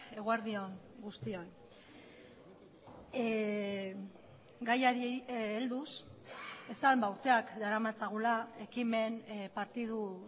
eguerdi on guztioi gaiari helduz esan urteak daramatzagula ekimen partidu